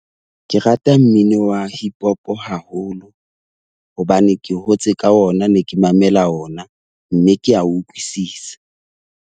Ke rata mmino wa Hip-hop haholo hobane ke hotse ka ona, ne ke mamela ona. Mme ke a o utlwisisa.